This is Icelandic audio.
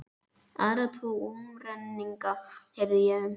Aðra tvo umrenninga heyrði ég um.